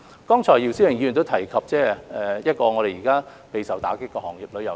剛才姚思榮議員亦提及現時備受打擊的旅遊業。